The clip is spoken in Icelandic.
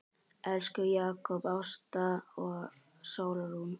Elsku Jakob, Ásta og Sólrún.